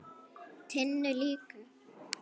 Tinnu líka.